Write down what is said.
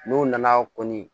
N'u nana kɔni